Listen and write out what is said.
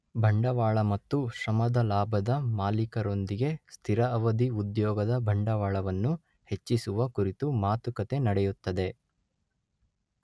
ಬಂಡವಾಳ ಮತ್ತು ಶ್ರಮದ ಲಾಭದ ಮಾಲೀಕರೊಂದಿಗೆ ಸ್ಥಿರ ಅವಧಿ ಉದ್ಯೋಗದ ಬಂಡವಾಳವನ್ನು ಹೆಚ್ಚಿಸುವ ಕುರಿತು ಮಾತುಕತೆ ನಡೆಯುತ್ತದೆ.